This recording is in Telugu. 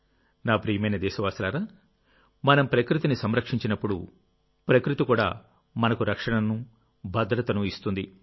నా ప్రియమైన దేశవాసులారామనం ప్రకృతిని సంరక్షించినప్పుడు ప్రకృతి కూడా మనకు రక్షణను భద్రతను ఇస్తుంది